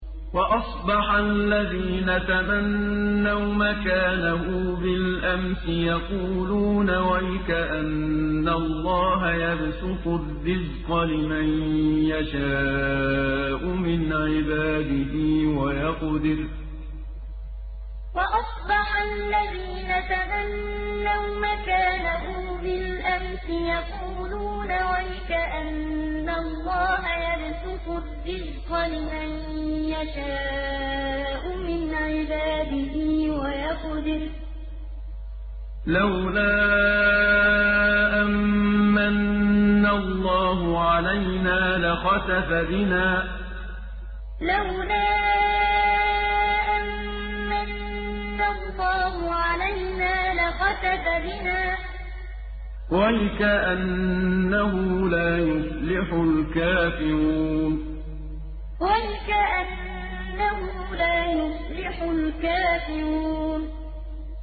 وَأَصْبَحَ الَّذِينَ تَمَنَّوْا مَكَانَهُ بِالْأَمْسِ يَقُولُونَ وَيْكَأَنَّ اللَّهَ يَبْسُطُ الرِّزْقَ لِمَن يَشَاءُ مِنْ عِبَادِهِ وَيَقْدِرُ ۖ لَوْلَا أَن مَّنَّ اللَّهُ عَلَيْنَا لَخَسَفَ بِنَا ۖ وَيْكَأَنَّهُ لَا يُفْلِحُ الْكَافِرُونَ وَأَصْبَحَ الَّذِينَ تَمَنَّوْا مَكَانَهُ بِالْأَمْسِ يَقُولُونَ وَيْكَأَنَّ اللَّهَ يَبْسُطُ الرِّزْقَ لِمَن يَشَاءُ مِنْ عِبَادِهِ وَيَقْدِرُ ۖ لَوْلَا أَن مَّنَّ اللَّهُ عَلَيْنَا لَخَسَفَ بِنَا ۖ وَيْكَأَنَّهُ لَا يُفْلِحُ الْكَافِرُونَ